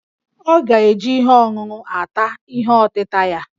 Ọ ga-eji ihe ọṅụṅụ ata ihe ọtịta ya